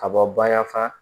Ka bɔ baya fa